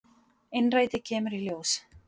Innrætið kemur í ljós.